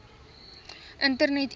internet e pos